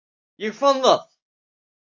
Ég fann það!